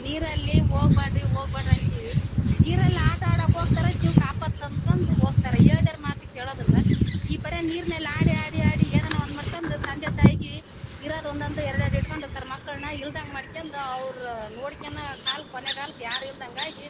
ನೀರಲ್ಲಿ ಹೋಗಬ್ಯಾಡ್ರಿ ಹೋಗಬ್ಯಾಡ್ರಿ ನೀರಲ್ಲಿ ಆಟಆಡಕ್ಕೆ ಹೋಗತರೆ ಜೀವಕ್ಕೆ ಆಪತ್ ತಂದಕೊಂದು ಹೋಗತರೆ ಹೇಳದವರ ಮಾತ ಕೇಳೋದಿಲ್ಲಾ ಈ ಪರಿ ನೀರನಲ್ಲಿ ಆಡಿ ಆಡಿ ಆಡಿ ಏನೋ ಒಂದು ಮಾಡಕೊಂದು ತಂದೆ ತಾಯಿಗಿ ಇರೋದ ಒಂದ್ ಒಂದು ಎರಡ್ ಎರಡು ಇಟ್ಟುಕೊಂಡ ಇರತರೆ ಮಕ್ಕಳನ್ನ ಇಲ್ಲದಗ್ ಅವ್ರ ಕೊನೆಗಾಲ ಯಾರು ಇಲ್ಲದಂಗ್ ಆಗಿ --